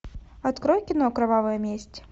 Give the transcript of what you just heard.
открой кино кровавая месть